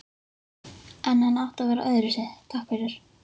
En hann átti að vera öðruvísi, takk fyrir.